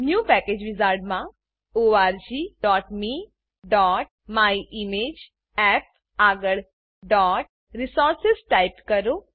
new package wizard new package wizard માં orgmeમાયિમેજઅપ આગળ resources ટાઈપ કરો